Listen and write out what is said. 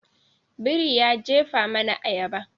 Biri ya jefa mana ayaba.